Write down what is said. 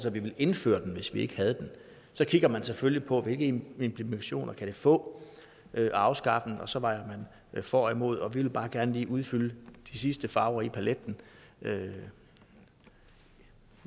at vi ville indføre den hvis vi ikke havde den så kigger man selvfølgelig på hvilke implikationer det kan få at afskaffe den og så vejer man for og imod vi vil bare gerne lige udfylde de sidste farver i paletten med